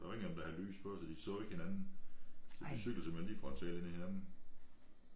Der var ingen af dem der havde lys på så de så ikke hinanden så de cyklede simpelthen lige frontalt ind i hinanden